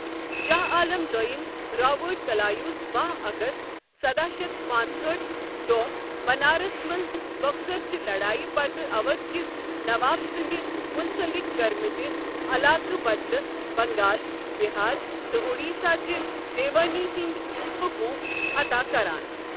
شاہ عالم دویم رابٲٹ کلایوس باہ اگست سداہ شیتھ پانٛژہأٹھ دوہ بنارسس منز بکسر چہِ لڑایہ پتہٕ اودھ كِس نواب سُندِ منصلق كرِمتہِ علاقہٕ بدلہٕ بنگال، بہار تہٕ اڈیسہ چہِ دیوٲنی ہندِ حقوٗق عطا كران۔